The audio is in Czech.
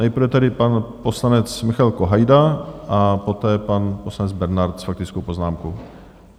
Nejprve tedy pan poslanec Michael Kohajda a poté pan poslanec Bernard s faktickou poznámkou.